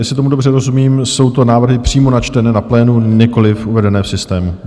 Jestli tomu dobře rozumím, jsou to návrhy přímo načtené na plénu, nikoliv uvedené v systému.